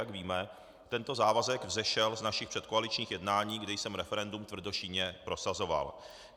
Jak víme, tento závazek vzešel z našich předkoaličních jednání, kdy jsem referendum tvrdošíjně prosazoval.